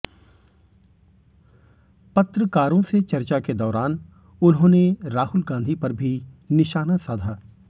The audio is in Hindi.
पत्रकारों से चर्चा के दौरान उन्होंने राहुल गांधी पर भी निशाना साधा